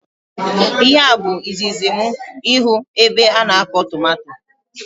Ihe a bụ izizi mụ ịhụ ebe ana akọ tomato